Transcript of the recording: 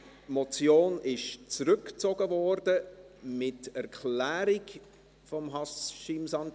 : Die Motion wurde von Haşim Sancar mit Erklärung zurückgezogen.